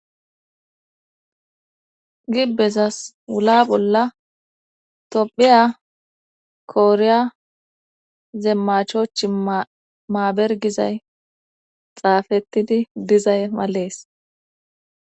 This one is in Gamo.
gibbezas wula bolla topphiya kooriya zeemmachoch maabergizay xaafettidi dizay malees